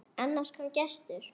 Annars kom gestur.